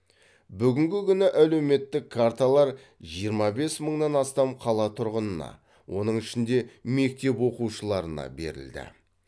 бүгінгі күні әлеуметтік карталар жиырма бес мыңнан астам қала тұрғынына оның ішінде мектеп оқушыларына берілді